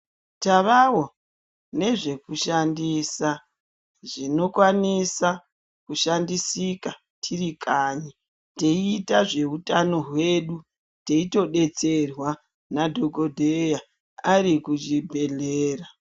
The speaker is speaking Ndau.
Tavawo nezvekushandisa zvinokwanisa kushandisika tirikanyi taiita zveutano hwedu taitodetserwa nadhokoteya ari kuchibhedhlera.